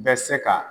Bɛ se ka